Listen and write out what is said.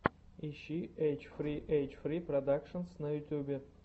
ищи эйч фри эйч фри продакшенс на ютубе